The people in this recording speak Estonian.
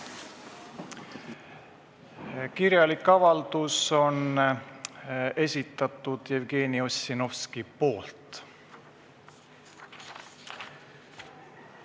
Kirjalik avaldus on esitatud Jevgeni Ossinovski poolt.